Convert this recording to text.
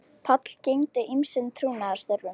Páll gegndi ýmsum trúnaðarstörfum